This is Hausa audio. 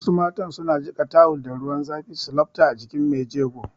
Wasu matan su na jiƙa tawul da ruwan zafi su lafta a jikin mai jego